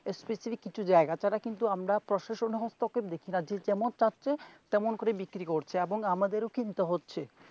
specially কিছু জায়গা ছাড়া কিন্তু আমরা প্রশাসনের তরফ থেকে রাজ্যের যেমন পাচ্ছে তেমন করেই বিক্রিও করছে এবং আমাদেরও কিনতে হচ্ছে.